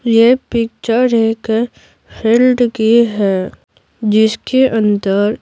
ये पिक्चर एक फील्ड की है जिसके अंदर --